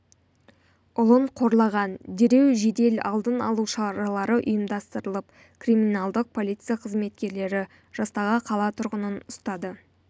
ұлын қорлаған дереу жедел алдын алу шаралары ұйымдастырылып криминалдық полиция қызметкерлері жастағы қала тұрғынын ұстады